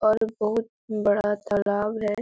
और बहुत बड़ा तालाब है।